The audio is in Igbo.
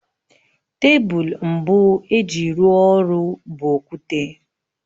Tebụl mbụ e ji rụọ ọrụ bụ okwute